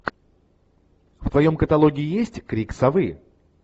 в твоем каталоге есть крик совы